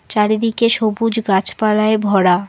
চারিদিকে সবুজ গাছপালায় ভরা।